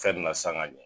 Fɛn min na sanga ɲɛ